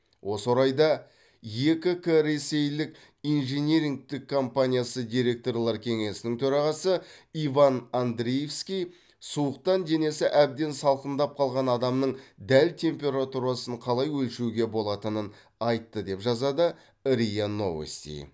осы орайда екі к ресейлік инжинирингтік компаниясы директорлар кеңесінің төрағасы иван андриевский суықтан денесі әбден салқындап қалған адамның дәл температурасын қалай өлшеуге болатынын айтты деп жазады риа новости